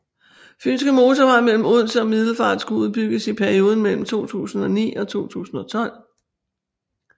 Fynske Motorvej mellem Odense og Middelfart skulle udbygges i perioden mellem 2009 og 2012